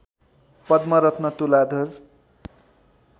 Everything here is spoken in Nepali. पद्मरत्न तुलाधर